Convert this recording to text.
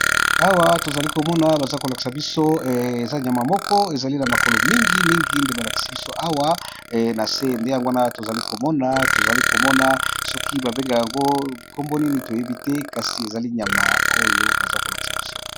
Awa tozali komona bazali kolakisa biso ezali bongo niama ya zamba